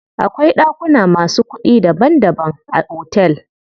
Akwai ɗakuna masu kuɗi daban daban a otel.